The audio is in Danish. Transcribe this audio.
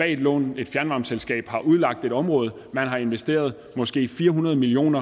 et lån et fjernvarmeselskab har udlagt et område man har investeret måske fire hundrede million